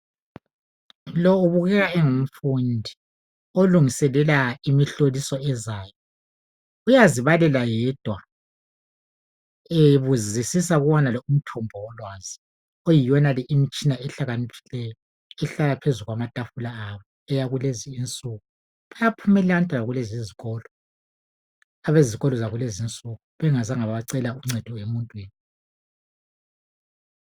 lowo ubukeka engumfundi olungiselela imhloliso ezayo uyazi balela yedwa ebuzisisa kuwonale umthombo wolwazi eyiwonale imitshina ehlakaniphiliyo ehlala phezu kwamatafula abo akulezi insuku bayaphumelela abantwana kulezo izikolo abezikolo zalezo insuku bengazange bacela uncedo emuntwini.